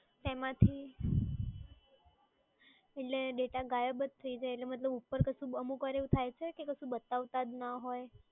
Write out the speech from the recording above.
તેમાંથી, એટલે data ગાયાબ જ થઈ જાય એટલે મતલબ ઉપર કશું અમુક વાર એવું થાય છે કે કશું બતાવતા જ ના હોય?